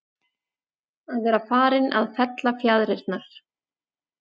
Að vera farinn að fella fjaðrirnar